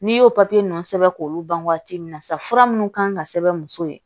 N'i y'o papiye ninnu sɛbɛn k'olu ban waati min na sa fura minnu kan ka sɛbɛn muso ye